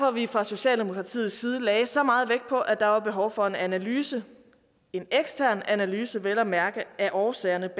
at vi fra socialdemokratiets side lagde så meget vægt på at der var behov for en analyse en ekstern analyse vel at mærke af årsagerne